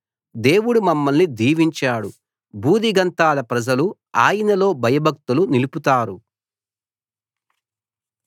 దేవుడు మమ్మల్ని దీవించాడు భూదిగంతాల ప్రజలు ఆయనలో భయభక్తులు నిలుపుతారు